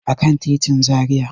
A kan titin Zaria.